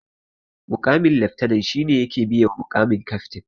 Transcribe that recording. Muƙamin laftanan shi ne yake biye wa muƙamin kaftin